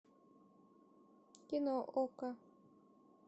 кино окко